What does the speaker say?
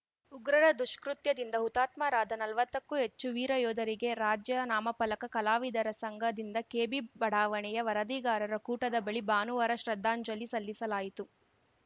ಉಗ್ರರ ದುಷ್ಕೃತ್ಯದಿಂದ ಹುತಾತ್ಮರಾದ ನಲ್ವತ್ತಕ್ಕೂ ಹೆಚ್ಚು ವೀರ ಯೋಧರಿಗೆ ರಾಜ್ಯ ನಾಮಫಲಕ ಕಲಾವಿದರ ಸಂಘದಿಂದ ಕೆಬಿ ಬಡಾವಣೆಯ ವರದಿಗಾರರ ಕೂಟದ ಬಳಿ ಭಾನುವಾರ ಶ್ರದ್ಧಾಂಜಲಿ ಸಲ್ಲಿಸಲಾಯಿತು